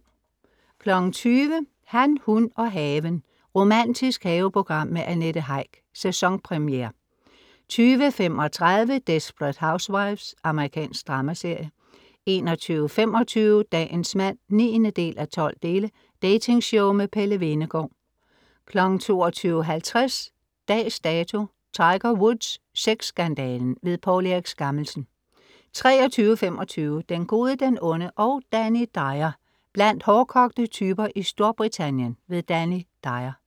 20.00 Han, hun og haven. romantisk haveprogram med Annette Heick. Sæsonpremiere 20.35 Desperate Housewives. Amerikansk dramaserie 21.25 Dagens mand 9:12. Dating-show med Pelle Hvenegaard 22.50 Dags Dato: Tiger Woods. Sexskandalen. Poul Erik Skammelsen 23.25 Den gode, den onde og Danny Dyer. blandt hårdkogte typer i Storbritannien. Danny Dyer